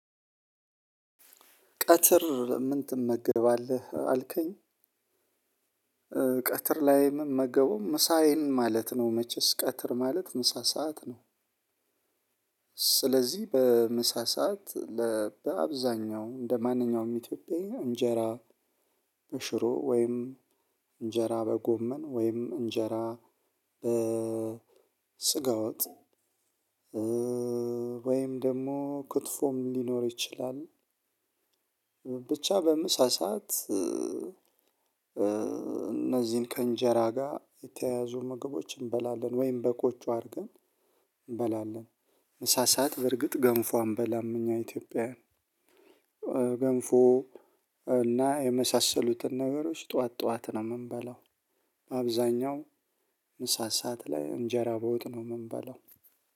ቀትር ምን ትመገባለህ አልከኝ? ቀትር ላይ እምመገበው ምሳዬን ማለት ነው መቼስ ቀትር ማለት ምሳ ሰዓት ነው። ስለዚህ በምሳ ሰዓት ለአብዛኛው እንደማንኛውም ኢትዮጵያዊ እንጀራ በሽሮ ወይም እንጀራ በጎመን ወይም እንጀራ በስጋወጥ። ወይም ደግሞ ክትፎም ሊኖር ይችላል። ብቻ በምሳ ስዓት እነዚህን ከእንጀራ ጋር የተያያዙ ምግቦች እንበላለን ወይም በቆጮ አድርገን እንበላለን። ምሳ ስዓት በርግጥ ገንፎ አንበላም እኛ ኢትዮጵያውያን። ገንፎ እና የመሳሰሉትን ነገሮች ጠዋት ጠዋት ነው የምንበላው። አብዛኛው ምሳ ስዓት ላይ እንጀራ በወጥ ነው የምንባለው።